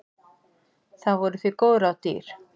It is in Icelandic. Það voru því góð ráð dýr.